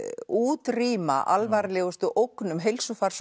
útrýma alvarlegustu ógnum